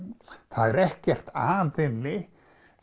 það er ekkert að henni